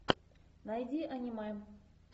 найди аниме